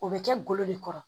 O bɛ kɛ golo de kɔrɔ